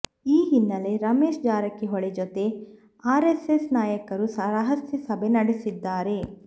ಈ ಹಿನ್ನೆಲೆ ರಮೇಶ್ ಜಾರಕಿಹೊಳಿ ಜೊತೆ ಆರ್ಎಸ್ಎಸ್ ನಾಯಕರು ರಹಸ್ಯ ಸಭೆ ನಡೆಸಿದ್ದಾರೆ